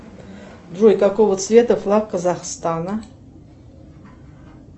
джой какого цвета флаг казахстана